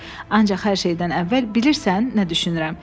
Ancaq hər şeydən əvvəl bilirsən nə düşünürəm?